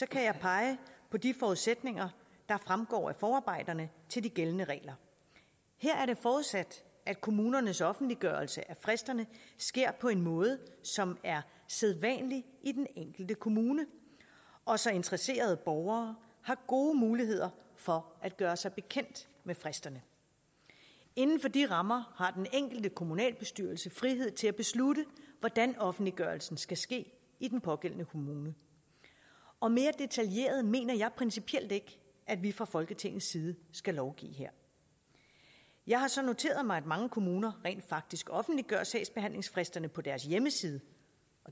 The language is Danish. kan jeg pege på de forudsætninger der fremgår af forarbejderne til de gældende regler her er det forudsat at kommunernes offentliggørelse af fristerne sker på en måde som er sædvanlig i den enkelte kommune og så interesserede borgere har gode muligheder for at gøre sig bekendt med fristerne inden for de rammer har den enkelte kommunalbestyrelse frihed til at beslutte hvordan offentliggørelsen skal ske i den pågældende kommune og mere detaljeret mener jeg principielt ikke at vi fra folketingets side skal lovgive her jeg har så noteret mig at mange kommuner rent faktisk offentliggør sagsbehandlingsfristerne på deres hjemmeside